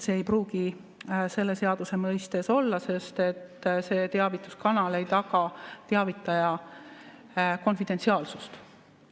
See ei pruugi selle seaduse mõistes olla, sest see teavituskanal ei taga teavitaja konfidentsiaalsust.